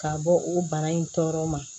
Ka bɔ o bara in tɔɔrɔ ma